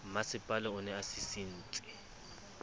mmasepala o ne a sisintse